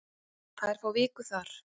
Þær fá viku þar.